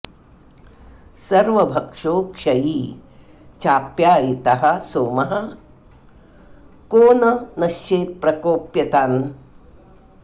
सर्वभक्षो क्षयी चाप्यायितः सोमः को न नश्येत्प्रकोप्य तान्